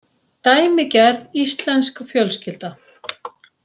Dæmigerð íslensk fjölskylda.